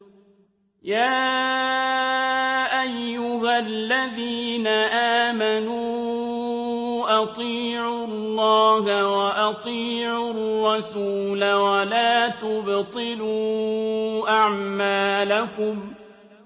۞ يَا أَيُّهَا الَّذِينَ آمَنُوا أَطِيعُوا اللَّهَ وَأَطِيعُوا الرَّسُولَ وَلَا تُبْطِلُوا أَعْمَالَكُمْ